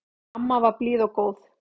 Amma var blíð og góð.